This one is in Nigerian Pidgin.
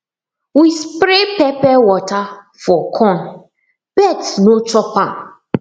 we spray pepper water for corn birds no chop am